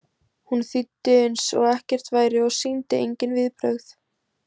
Hún þýddi eins og ekkert væri og sýndi engin viðbrögð.